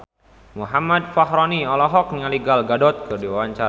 Muhammad Fachroni olohok ningali Gal Gadot keur diwawancara